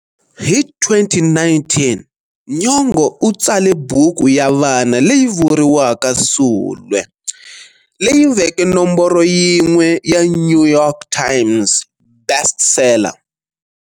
Hi 2019, Nyong'o u tsale buku ya vana leyi vuriwaka "Sulwe", leyi veke nomboro yin'we"ya New York Times" Best-Seller.